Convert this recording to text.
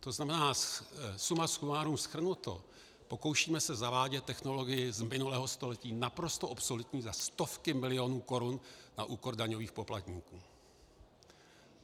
To znamená, suma sumárum shrnuto, pokoušíme se zavádět technologii z minulého století naprosto obsoletní za stovky milionů korun na úkor daňových poplatníků.